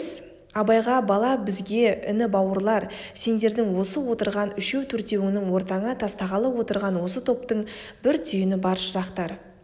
абайға бала бізге іні бауырлар сендердің осы отырған үшеу-төртеуіңнің ортаңа тастағалы отырған осы топтың бір түйіні бар шырақтар